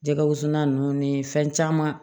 Jɛgɛ wusu na nunnu ni fɛn caman